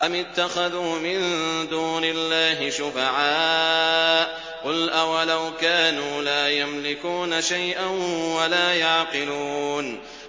أَمِ اتَّخَذُوا مِن دُونِ اللَّهِ شُفَعَاءَ ۚ قُلْ أَوَلَوْ كَانُوا لَا يَمْلِكُونَ شَيْئًا وَلَا يَعْقِلُونَ